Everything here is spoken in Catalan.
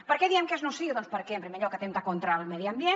per què diem que és nociu doncs perquè en primer lloc atempta contra el medi ambient